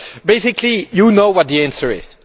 So basically, you know what the answer is.